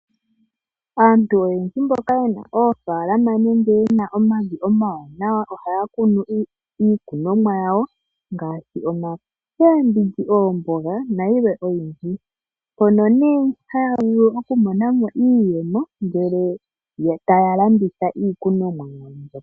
Aantu oyendji mboka ye na oofalama nenge ye na omavi omawanawa ohaya kunu iikunomwa yawo ngaashi omakembindji, oomboga na yilwe oyindji mpono ne haya vulu okumonamo iiyemo ngele taya landitha iikunomwa yawo mbyoka.